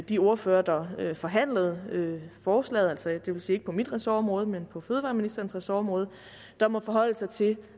de ordførere der forhandlede forslaget altså det vil sige ikke på mit ressortområde men på fødevareministerens ressortområde der må forholde sig til